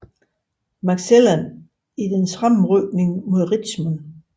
McClellan i dens fremrykning mod Richmond